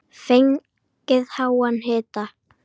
Fengið háan hita.